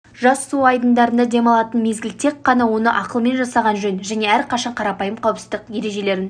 жаз су айдындарда демалатын мезгіл тек қана оны ақылмен жасаған жөн және әрқашан қарапайым қауіпсіздік ережелерін